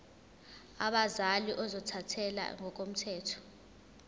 abazali ozothathele ngokomthetho